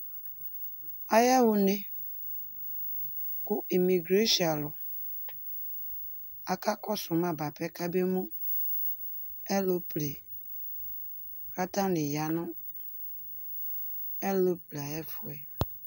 Ayaɣa une, kʋ imigresi alʋ akakɔsʋ ma bʋapɛ kabemu ɛrople, kʋ atanɩ ya nʋ ɛrople ayʋ ɛfʋ